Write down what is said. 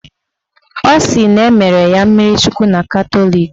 Ọ sịrị na emere ya mmirichukwu na Katọlik